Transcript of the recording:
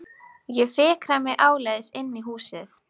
Roði færist yfir andlitið þegar hann þvertekur fyrir það.